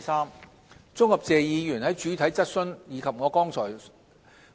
三綜合謝議員在主體質詢及我剛才